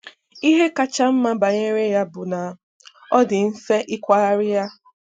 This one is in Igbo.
Ihe kacha mma banyere ya bụ na ọ dị mfe ikwagharị ya.